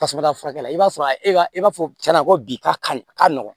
Tasuma furakɛla i b'a sɔrɔ a b'a fɔ cɛn na ko bi ka kari ka nɔgɔn